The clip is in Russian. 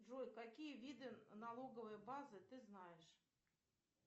джой какие виды налоговой базы ты знаешь